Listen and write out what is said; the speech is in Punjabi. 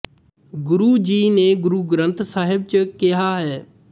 ਗੁਰੂ ਜੀ ਨੇ ਗੁਰੂ ਗਰੰਥ ਸਾਹਿਬ ਚ ਕਿਹਾ ਹੈ